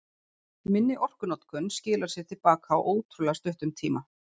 Minni orkunotkun skilar sér til baka á ótrúlega stuttum tíma.